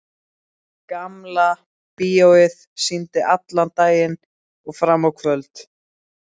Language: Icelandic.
Gamla bíóið sýndi allan daginn og fram á kvöld.